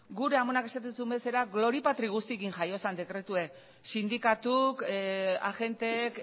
gure amonak esaten zuen bezala glori patri guztiekin jaio zen dekretuek sindikatuk agenteek